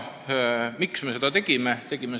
Miks me seda tegime?